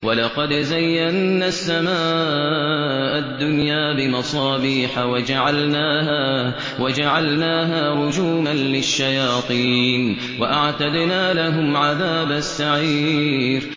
وَلَقَدْ زَيَّنَّا السَّمَاءَ الدُّنْيَا بِمَصَابِيحَ وَجَعَلْنَاهَا رُجُومًا لِّلشَّيَاطِينِ ۖ وَأَعْتَدْنَا لَهُمْ عَذَابَ السَّعِيرِ